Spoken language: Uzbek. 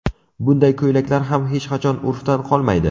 Bunday ko‘ylaklar ham hech qachon urfdan qolmaydi.